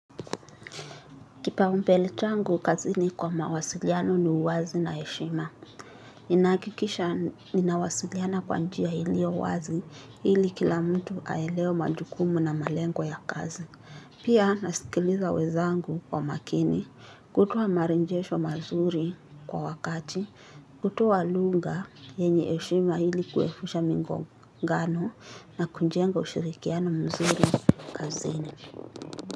Kipaumpele changu kazini kwa mawasiliano ni uwazi na heshima. Ninaakikisha ninawasiliana kwa njia ilio wazi hili kila mtu aelewe majukumu na malengo ya kazi. Pia nasikiliza wezangu kwa makini kutowa marenjesho mazuri kwa wakati kutowa lunga yenye eshima hili kuepusha migongano na kujenga ushirikiano mzuri kazini.